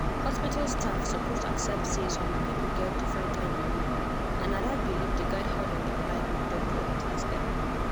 hospital staffs suppose accept say some people get different kind belief and na that belief dey guide how dem go like make doctor treat dem.